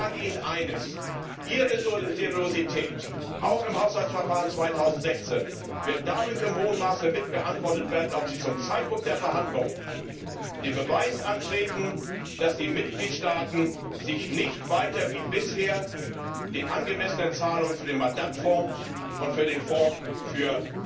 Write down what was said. Ich sage Ihnen eines Ihre Seriosität, auch im Haushaltsverfahren 2016, wird dadurch im hohen Maße mit beantwortet, ob Sie zum Zeitpunkt der Verhandlung den Beweis antreten, dass die Mitgliedstaaten sich nicht weiter wie bisher den angemessenen Zahlungen für den Madad Fonds und für den Fonds für